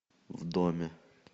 в доме